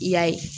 I y'a ye